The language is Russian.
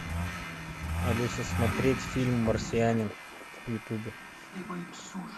алиса смотреть фильм марсианин в ютубе